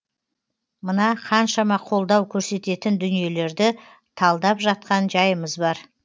мына қаншама қолдау көрсететін дүниелерді талдап жатқан жайымыз бар